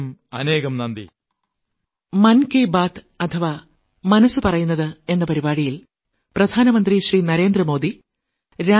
അനേകാനേകം നന്ദി